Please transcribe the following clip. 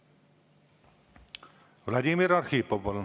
Vladimir Arhipov, palun!